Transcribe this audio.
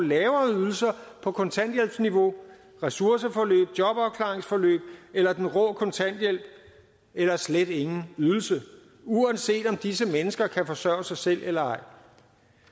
lavere ydelser på kontanthjælpsniveau i ressourceforløb i jobafklaringsforløb eller den rå kontanthjælp eller slet ingen ydelse uanset om disse mennesker kan forsørge sig selv eller